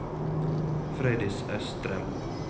Frøydis Østrem